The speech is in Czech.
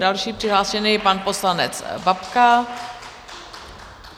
Další přihlášený je pan poslanec Babka.